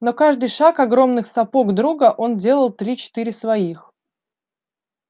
на каждый шаг огромных сапог друга он делал три-четыре своих